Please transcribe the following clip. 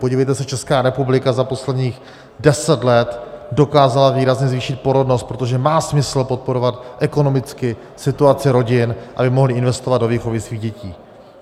Podívejte se, Česká republika za posledních deset let dokázala výrazně zvýšit porodnost, protože má smysl podporovat ekonomicky situaci rodin, aby mohly investovat do výchovy svých dětí.